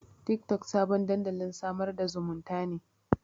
Tiktok sabon dandalin sadar da zumunta ne.